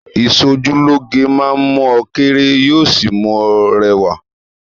Ìṣojúlóge máa mú ọ kéré yóò sì mú ọ rẹwà